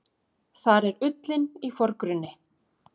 Þar er ullin í forgrunni.